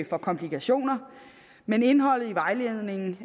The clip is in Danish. for komplikationer men indholdet i vejledningen